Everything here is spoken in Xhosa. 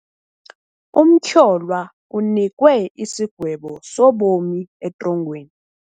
Umtyholwa unikwe isigwebo sobomi etrongweni.